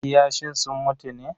Kiyashin sun mutu ne?